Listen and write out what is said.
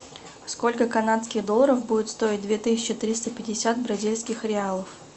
сколько канадских долларов будет стоить две тысячи триста пятьдесят бразильских реалов